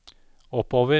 oppover